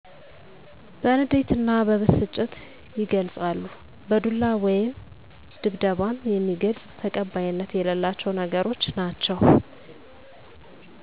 በንዴት እና በብስጭት ይገልፃሉ በዱላ ወይም ድብድብም የሚገልፅ ተቀባይነት የሌላቸው ነገሮች ናቸው